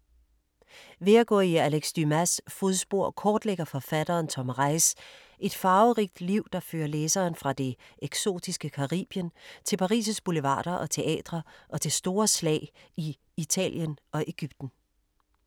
Ved at gå i Alex Dumas’ fodspor kortlægger forfatteren Tom Reiss et farverigt liv, der fører læseren fra det eksotiske Caribien til Paris’ boulevarder og teatre og til store slag i Italien og Egypten.